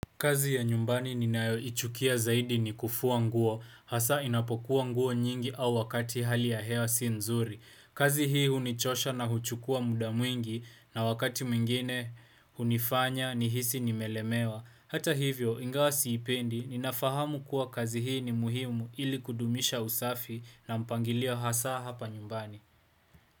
Kazi ya nyumbani ninayoichukia zaidi ni kufuwa nguo hasa inapokuwa nguo nyingi au wakati hali ya hewa si nzuri. Kazi hii hunichosha na huchukua muda mwingi na wakati mwingine hunifanya nihisi nimelemewa. Hata hivyo ingawa siipendi ninafahamu kuwa kazi hii ni muhimu ili kudumisha usafi na mpangilio hasa hapa nyumbani.